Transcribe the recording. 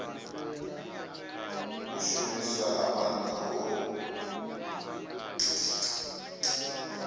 u shumiswa ha maanḓa ho